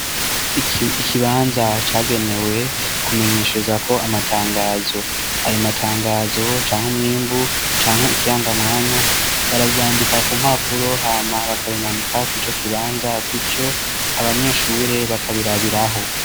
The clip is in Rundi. Ikibanza cagenewe kumenyesherezako amatangazo. Ayo matangazo, canke umwimbu, canke ikirangamwanya, baravyandika ku mpapuro hama bakabimanika kur'ico kibanza, gutyo abanyeshure bakabirabiraho.